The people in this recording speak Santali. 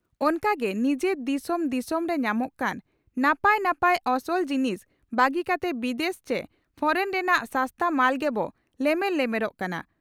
ᱚᱱᱠᱟ ᱜᱮ ᱱᱤᱡᱚᱨ ᱫᱤᱥᱚᱢ ᱫᱤᱥᱚᱢᱨᱮ ᱧᱟᱢᱚᱜ ᱠᱟᱱ ᱱᱟᱯᱟᱭ ᱱᱟᱯᱟᱭ ᱚᱥᱚᱞ ᱡᱤᱱᱤᱥ ᱵᱟᱹᱜᱤ ᱠᱟᱛᱮ ᱵᱤᱫᱮᱥ ᱪᱮ ᱯᱷᱚᱨᱮᱱ ᱨᱮᱱᱟᱜ ᱥᱟᱥᱛᱟ ᱢᱟᱞ ᱜᱮᱵᱚ ᱞᱮᱢᱮᱨ ᱞᱮᱢᱮᱨᱚᱜ ᱠᱟᱱᱟ ᱾